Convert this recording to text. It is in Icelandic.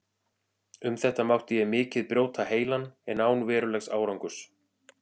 Um þetta mátti ég mikið brjóta heilann, en án verulegs árangurs.